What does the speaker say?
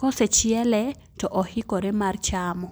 kose chiele to oikore mar chamo.